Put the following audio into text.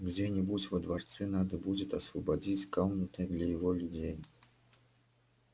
где-нибудь во дворце надо будет освободить комнаты для его людей